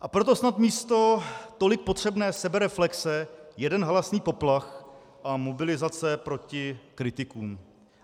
A proto snad místo tolik potřebné sebereflexe jeden halasný poplach a mobilizace proti kritikům.